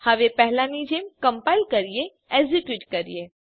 હવે પહેલાની જેમ કમ્પાઈલ કરીએ એક્ઝેક્યુટ કરીએ